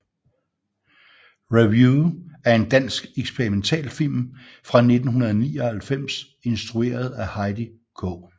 Review er en dansk eksperimentalfilm fra 1999 instrueret af Heidi K